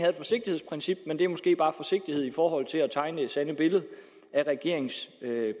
et forsigtighedsprincip men det er måske bare en forsigtighed i forhold til at tegne det sande billede af regeringens